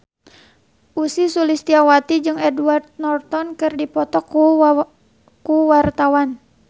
Ussy Sulistyawati jeung Edward Norton keur dipoto ku wartawan